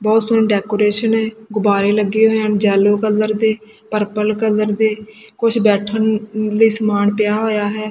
ਬਹੁਤ ਸੋਹਣੀ ਡੈਕੋਰੇਸ਼ਨ ਹੈ ਗੁਬਾਰੇ ਲੱਗੇ ਹੋਏ ਐ ਜੈਲੋ ਕਲਰ ਦੇ ਪਰਪਲ ਕਲਰ ਦੇ ਕੁਝ ਬੈਠਣ ਲਈ ਸਮਾਨ ਪਿਆ ਹੋਇਆ ਹੈ।